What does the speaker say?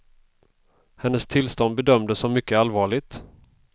Hennes tillstånd bedömdes som mycket allvarligt.